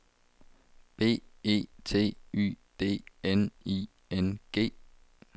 B E T Y D N I N G